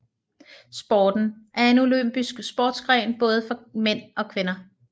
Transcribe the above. Sporten er en olympisk sportsgren både for mænd og kvinder